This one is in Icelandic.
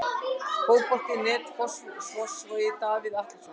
Fótbolti.net, Fossvogi- Davíð Atlason.